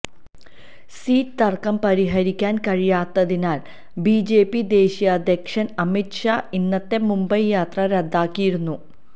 seat തര്ക്കം പരിഹരിക്കാന് കഴിയാത്തതിനാല് ബിജെപി ദേശീയാധ്യക്ഷന് അമിത് ഷാ ഇന്നത്തെ മുംബൈ യാത്ര റദ്ദാക്കിയിരുന്നു